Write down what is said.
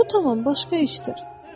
Bu tamam başqa işdir.